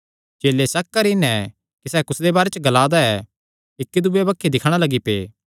चेले शक करी नैं कि सैह़ कुसदे बारे च ग्ला दा ऐ इक्की दूये बक्खी दिक्खणा लग्गी पै